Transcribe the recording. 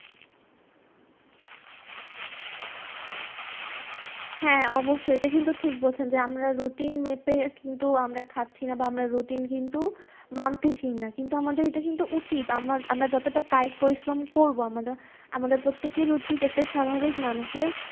হ্যাঁ অবশ্যই, এটা কিন্তু ঠিক বলছেন যে আমরা routine মেপে কিন্তু আমরা খাচ্ছি না বা আমরা routine কিন্তু মানতেছি না, কিন্তু আমাদের এটা কিন্তু উচিত আম~আমরা যতটা কায়িক পরিশ্রম করবো আমা~আমাদের প্রত্যেকের উচিত, একটা স্বাভাবিক মানুষের